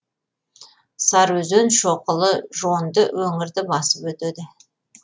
сарыөзен шоқылы жонды өңірді басып өтеді